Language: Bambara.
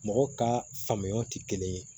Mɔgɔ ka faamuyaw tɛ kelen ye